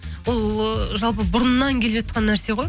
бұл ы жалпы бұрыннан келе жатқан нәрсе ғой